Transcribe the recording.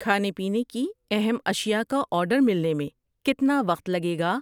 کھانے پینے کی اہم اشیا کا آرڈر ملنے میں کتنا وقت لگے گا؟